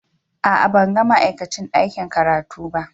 A'a, ban ga ma'aikacin ɗakin karatu ba.